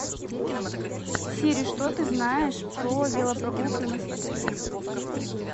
сири что ты знаешь про велопрогулки у нас в отеле